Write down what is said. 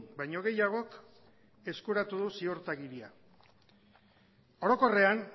baino gehiagok eskuratu du ziurtagiria orokorrean